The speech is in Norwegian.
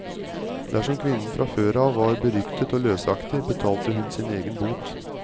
Dersom kvinnen fra før av var beryktet og løsaktig, betalte hun sin egen bot.